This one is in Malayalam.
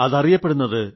അതറിയപ്പെടുന്നത്